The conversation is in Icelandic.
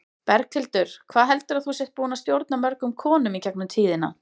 Berghildur: Hvað heldurðu að þú sért búin að stjórna mörgum konum í gegnum tíðina?